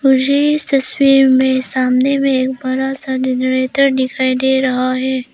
मुझे इस तस्वीर में सामने में एक बड़ा सा जनरेटर दिखाई दे रहा है।